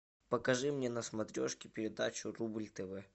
покажи мне на смотрешке передачу рубль тв